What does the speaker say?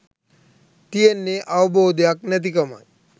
තියෙන්නේ අවබෝධයක් නැති කමයි.